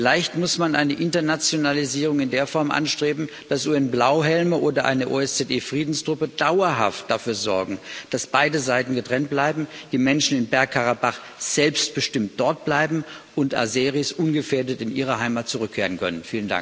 Vielleicht muss man eine Internationalisierung in der Form anstreben, dass UN Blauhelme oder eine OSZE Friedenstruppe dauerhaft dafür sorgen, dass beide Seiten getrennt bleiben, die Menschen in Bergkarabach selbstbestimmt dort bleiben und Aseris ungefährdet in ihre Heimat zurückkehren können.